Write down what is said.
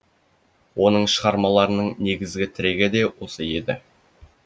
оның шығармаларының негізгі тірегі де осы еді